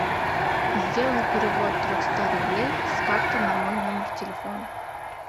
сделай перевод трехсот рублей с карты на мой номер телефона